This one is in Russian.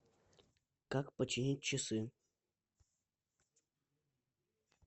как починить часы